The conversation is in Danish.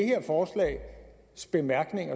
en kort bemærkning